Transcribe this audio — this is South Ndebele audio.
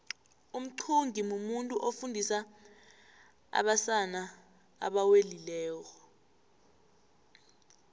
umxhungi mumuntu ofundisa abasana abewelileko